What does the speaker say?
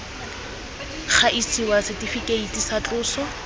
ga isiwa setifikeiti tsa tloso